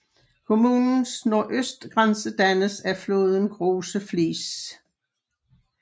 Kommunens nordøstgrænse dannes af floden Große Fließ